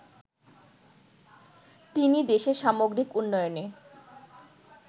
তিনি দেশের সামগ্রিক উন্নয়নে